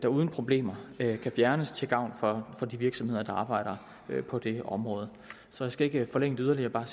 uden problemer kan fjernes til gavn for de virksomheder der arbejder på det område så jeg skal ikke forlænge det yderligere